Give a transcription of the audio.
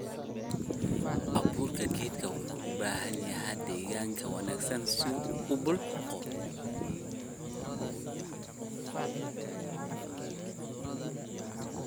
Abuurka geedku wuxuu u baahan yahay deegaan wanaagsan si uu u biqlo.